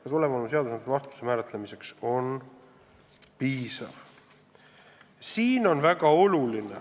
Kas olemasolev seadusandlus vastutuse määratlemiseks on piisav?